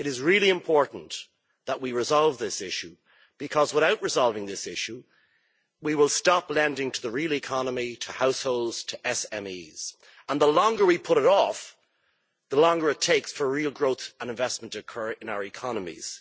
It is really important that we resolve this issue, because without resolving this issue, we will stop lending to the real economy, to households, to SMEs, and the longer we put it off, the longer it takes for real growth and investment to occur in our economies.